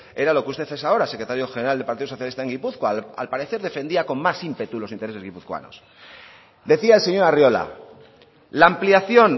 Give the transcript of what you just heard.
era lo que usted es ahora secretario general del partido socialista en gipuzkoa al parecer defendía con más ímpetu los intereses guipuzcoanos decía el señor arriola la ampliación